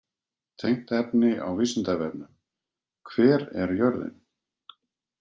Tengt efni á Vísindavefnum: Hver er jörðin?